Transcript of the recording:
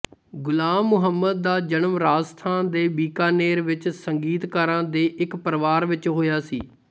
ਗੁਲਾਮ ਮੁਹੰਮਦ ਦਾ ਜਨਮ ਰਾਜਸਥਾਨ ਦੇ ਬੀਕਾਨੇਰ ਵਿੱਚ ਸੰਗੀਤਕਾਰਾਂ ਦੇ ਇੱਕ ਪਰਿਵਾਰ ਵਿੱਚ ਹੋਇਆ ਸੀ